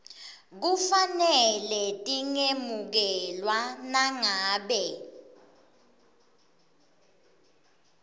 kufanele tingemukelwa nangabe